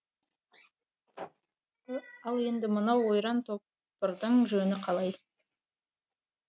ал енді мынау ойран топырдың жөні қалай